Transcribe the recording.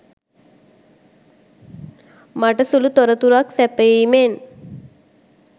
මට සුළු තොරතුරක් සැපයීමෙන්